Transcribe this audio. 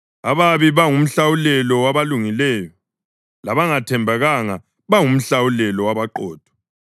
Ababi baba ngumhlawulelo wabalungileyo, labangathembekanga bangumhlawulelo wabaqotho.